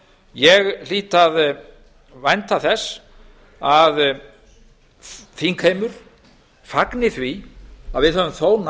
ég hlýt að vænta þess að þingheimur fagni því að við höfum þó náð